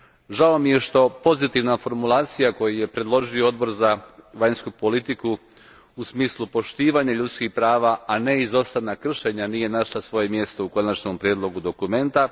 Žao mi je što pozitivna formulacija koju je predložio Odbor za vanjsku politiku u smislu poštivanja ljudskih prava, a ne izostanak kršenja nije našla svoje mjesto u konačnom prijedlogu dokumenta.